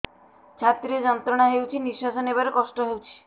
ଛାତି ରେ ଯନ୍ତ୍ରଣା ହେଉଛି ନିଶ୍ଵାସ ନେବାର କଷ୍ଟ ହେଉଛି